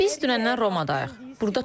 Biz dünəndən Romadayıq.